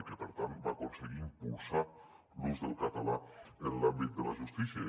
i per tant va aconseguir impulsar l’ús del català en l’àmbit de la justícia